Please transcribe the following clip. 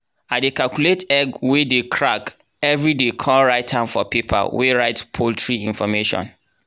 i dey calculate egg wey dey crack everiday con write am for paper wey write poultry information.